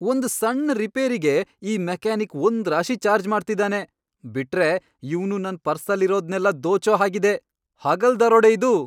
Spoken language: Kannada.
ಒಂದ್ ಸಣ್ಣ್ ರಿಪೇರಿಗೆ ಈ ಮೆಕ್ಯಾನಿಕ್ ಒಂದ್ರಾಶಿ ಚಾರ್ಜ್ ಮಾಡ್ತಿದಾನೆ. ಬಿಟ್ರೆ ಇವ್ನು ನನ್ ಪರ್ಸಲ್ಲಿರೋದ್ನೆಲ್ಲ ದೋಚೋ ಹಾಗಿದೆ. ಹಗಲ್ ದರೋಡೆ ಇದು!